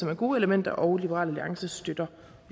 men gode elementer og liberal alliance støtter